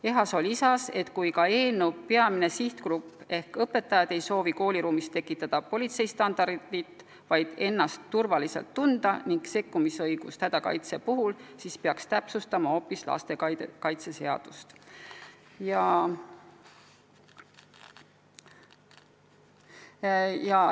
Ehasoo arvas, et kui ka eelnõu peamine sihtgrupp ehk õpetajad ei soovi kooliruumis tekitada politsei standardit, vaid ennast turvaliselt tunda ning saada õigust hädakaitseks sekkuda, siis peaks täpsustama hoopis lastekaitseseadust.